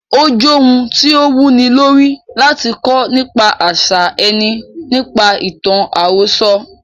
Ó j ohun tí o wu ni lórí, láti kọ́ nípa àṣà ẹni nípaṣẹ̀ ìtàn àròsọ.